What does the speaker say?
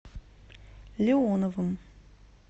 леоновым